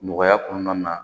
Nɔgɔya kɔnɔna na